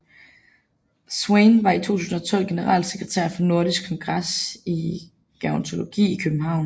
Swane var i 2012 generalsekretær for Nordisk Kongres i Gerontologi i København